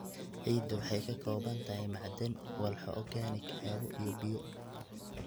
Ciiddu waxay ka kooban tahay macdan, walxo organic, hawo, iyo biyo.